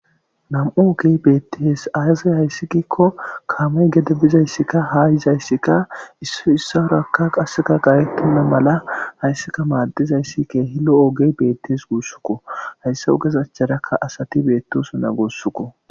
nam7o ogey beettees aaze hayssi giikko kaamey gede bizayssikka haa yizayssikka issoy issawurakka qasseta gaayettenna mala hayssika maaddizayssi keehi lo7o ogey beettees guussukko. Hayssa ogeza acharakka asati beettosu na guusako.